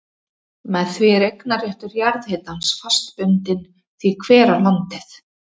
Með því er eignarréttur jarðhitans fast bundinn því hver á landið.